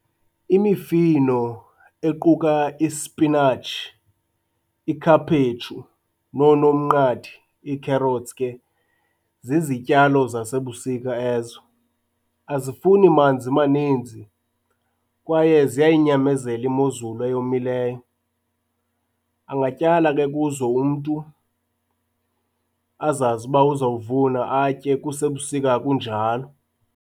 Imifino equka ispinatshi, ikhaphetshu, nonomnqathi, ii-carrots ke, zizityalo zasebusika ezo. Azifuni manzi maninzi kwaye ziyayinyamezela imozulu eyomileyo, angatyala ke kuzo umntu azazi uba uzowuvuna atye kusebusika kunjalo.